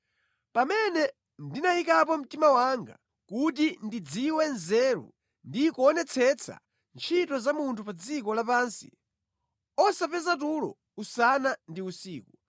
Pamene ndinayikapo mtima wanga kuti ndidziwe nzeru ndi kuonetsetsa ntchito za munthu pa dziko lapansi, osapeza tulo usana ndi usiku,